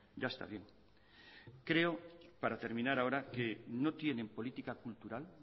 ya está bien creo para terminar ahora que no tienen política cultural